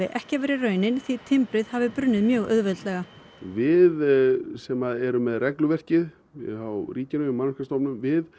ekki verið raunin því timbrið hafi brunnið mjög auðveldlega við sem erum með regluverkið hjá ríkinu hjá Mannvirkjastofnun